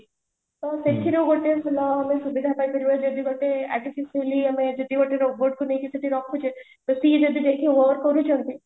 ତ ସେଥିରୁ ଗୋଟେ ଆମେ ସୁବିଧା ପାଇପାରିବା ଯଦି ଗୋଟେ ଯଦି ଗୋଟେ robot କୁ ନେଇକି ରଖୁଛ କରୁଛନ୍ତି